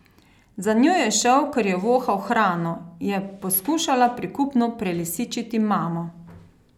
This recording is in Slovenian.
Za njo je šel, ker je vohal hrano, je poskušala prikupno prelisičiti mamo.